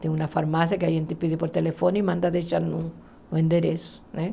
Tem uma farmácia que a gente pede por telefone e manda deixar no no endereço né.